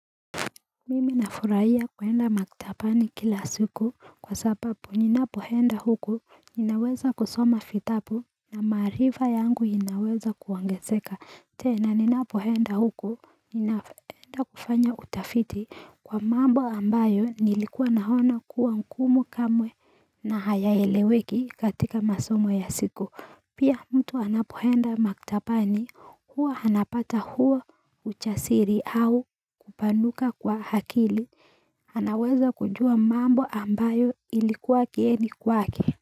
Mimi nafurahia kuenda maktabani kila siku kwa sababu ninapoenda huko, ninaweza kusoma vitabu na maarifa yangu inaweza kuongezeka, tena ninapoenda huko, ninaenda kufanya utafiti kwa mambo ambayo nilikuwa naona kuwa ngumu kamwe na hayaeleweki katika masomo ya siku. Pia mtu anapoenda maktabani huwa anapata huo ujasiri au kupanuka kwa akili. Anaweza kujua mambo ambayo ilikuwa kigeni kwake.